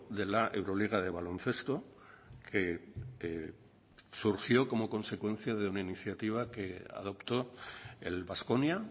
de la euroliga de baloncesto que surgió como consecuencia de una iniciativa que adoptó el baskonia